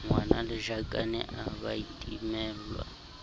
ngwanelajakane a ba a timellwa